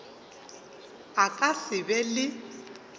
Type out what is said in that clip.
a ka se be le